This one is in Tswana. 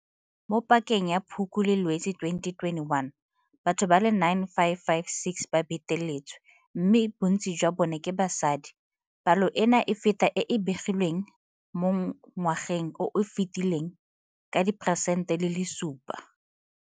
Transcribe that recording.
Mo pakeng ya Phukwi le Lwetse 2021, batho ba le 9 556 ba beteletswe, mme bontsi jwa bona ke basadi. Palo eno e feta e e begilweng mo ngwageng o o fetileng ka 7 percent.